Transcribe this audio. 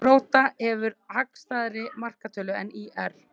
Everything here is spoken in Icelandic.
Grótta hefur hagstæðari markatölu en ÍR